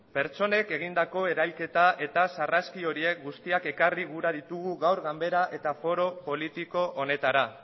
pertsonek egindako erailketa eta sarraski horiek guztiak ekarri gura ditugu gaur ganbara eta foro politiko honetara